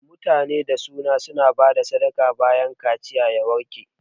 Mutanen da su na bada sadaka bayan kaciya ya warke